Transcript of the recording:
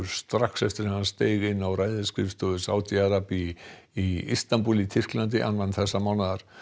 strax eftir að hann steig inn á ræðisskrifstofu Sádi Arabíu í í Istabúl í Tyrklandi annan þessa mánaðar